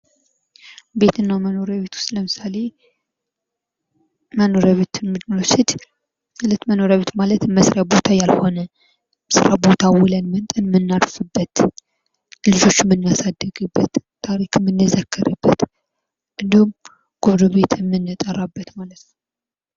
ቤትና መኖሪያ ቤት ውስጥ ለምሳሌ መኖሪያ ቤት ማለት መስሪያ ቦታ ያልሆነ ስራ ቦታ ውልን መጠን ደምናፍበት ልጆችን የምናሳድግበት ታሪክ ምንዘከርበት እንዲሁም ጎረቤት የምንጠራበት።